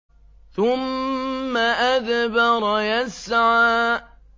ثُمَّ أَدْبَرَ يَسْعَىٰ